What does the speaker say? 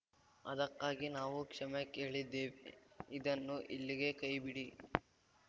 ಅದಕ್ಕಾಗಿ ನಾವು ಕ್ಷಮೆ ಕೇಳಿದ್ದೇವೆ ಇದನ್ನು ಇಲ್ಲಿಗೆ ಕೈ ಬಿಡಿ